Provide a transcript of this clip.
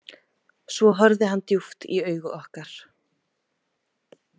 Svo horfði hann djúpt í augu okkar.